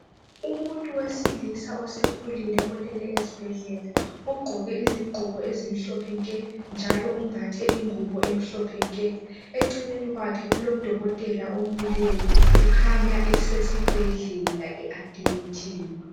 Umuntu wesilisa osekhulile olele esibhedlela, ugqoke izigqoko ezimhlophe nke njalo umbathe ingubo emhlophe nke. Eceleni kwakhe kulodokotela omileyo, ukhanya esesibhedlela eadimithiwe.